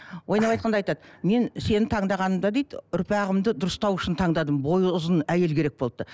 ойнап айтқанда айтады мен сені таңдағанымда дейді ұрпағымды дұрыстау үшін таңдадым бойы ұзын әйел керек болыпты